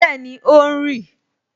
Bẹẹni, ó ń rì